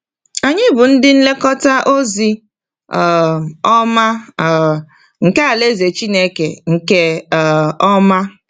Anyị bụ ndị nlekọta ozi um ọma um nke alaeze Chineke nke um ọma.